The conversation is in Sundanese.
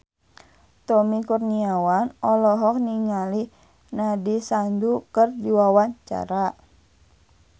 Tommy Kurniawan olohok ningali Nandish Sandhu keur diwawancara